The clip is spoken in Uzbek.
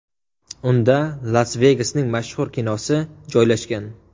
Unda Las-Vegasning mashhur kazinosi joylashgan.